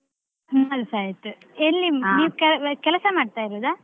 ನಮ್ಮದುಸ ಆಯ್ತು ಎಲ್ಲಿ. ಕೆಲಸ ಮಾಡ್ತಾ ಇರುದಾ?